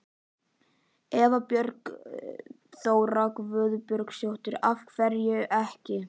Eva Bergþóra Guðbergsdóttir: Af hverju ekki?